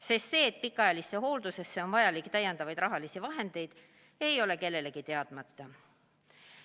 Sest see, et pikaajalisse hooldusse on vaja täiendavaid rahalisi vahendeid, ei ole kellelegi teadmata.